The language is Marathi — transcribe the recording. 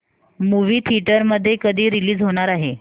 मूवी थिएटर मध्ये कधी रीलीज होणार आहे